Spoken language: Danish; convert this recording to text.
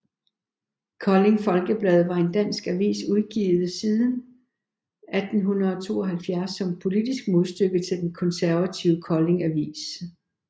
Kolding Folkeblad var en dansk avis udgivet siden 1872 som politisk modstykke til den konservative Kolding Avis